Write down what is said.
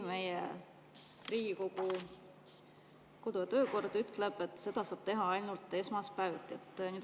Riigikogu kodu- ja töökord ütleb, et seda saab teha ainult esmaspäeviti.